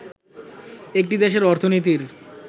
একটি দেশের অর্থনীতির